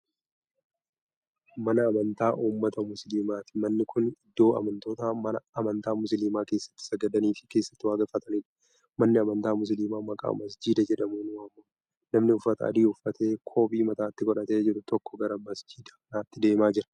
Mana amantaa ummata musliimaati. manni Kuni iddoo amantoonni amantaa musliimaa keessatti sagadaniifi keessatti waaqeffataniidha. manni amantaa musliimaa maqaa masjiida jedhamuun waamama. namni uffata adii uffatee qoobii mataatti godhatee jiru tokko gara masjiida kanaatti deemaa jira.